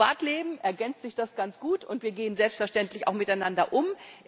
Im Privatleben ergänzt sich das ganz gut und wir gehen auch selbstverständlich miteinander um.